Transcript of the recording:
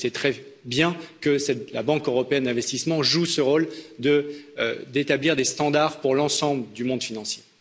Et c'est très bien que la Banque européenne d'investissement joue ce rôle d'établir des standards pour l'ensemble du monde financier.